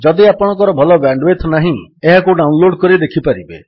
ଯଦି ଆପଣଙ୍କ ଭଲ ବ୍ୟାଣ୍ଡୱିଡଥ୍ ନାହିଁ ଏହାକୁ ଡାଉନଲୋଡ୍ କରି ଦେଖିପାରିବେ